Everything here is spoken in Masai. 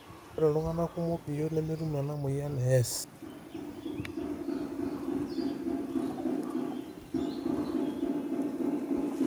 ore iltunganak kumok biot nemetum ena moyian e S